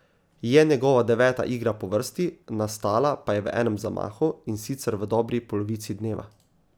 Je njegova deveta igra po vrsti, nastala pa je v enem zamahu, in sicer v dobri polovici dneva.